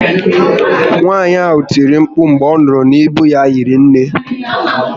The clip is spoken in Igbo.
Nwaànyị ahụ tiri mkpu mgbe ọ nụrụ na íbú ya hiri nné